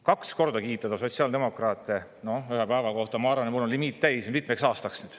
Kaks korda kiita sotsiaaldemokraate ühel päeval – ma arvan, et mul on see limiit täis mitmeks aastaks.